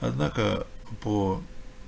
однако по